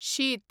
शीत